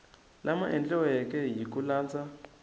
lama endliweke hi ku landza